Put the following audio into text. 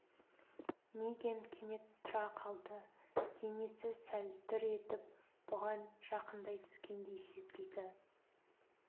мигэн кенет тұра қалды денесі сәл дір етіп бұған жақындай түскендей сезілді